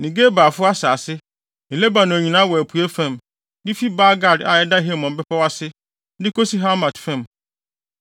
ne Gebalfo asase ne Lebanon nyinaa wɔ apuei fam, de fi Baal-Gad a ɛda Hermon bepɔw ase, de kosi Hamat fam.